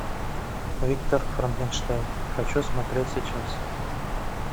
виктор франкенштейн хочу смотреть сейчас